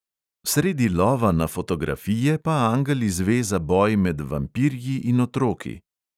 Sredi lova na fotografije pa angel izve za boj med vampirji in otroki.